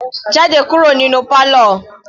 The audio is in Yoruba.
Jáde kúrò nínú parlour.